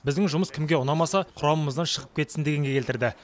біздің жұмыс кімге ұнамаса құрамымыздан шығып кетсін дегенге келтірді